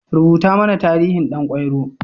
Rubuta mana tarihin Ɗan kwairo.